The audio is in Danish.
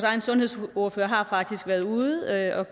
egen sundhedsordfører har faktisk været ude at